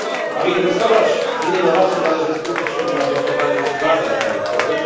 Aby inwestować w innowacje, należy skupić się na dotowaniu badań naukowych.